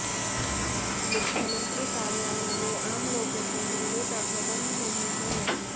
मुख्यमंत्री कार्यालय में आम लोगों के मिलने का प्रबंध नहीं है